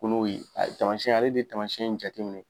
Kolo ye tamasiyɛn ale de tamasiyɛn in jateminɛ.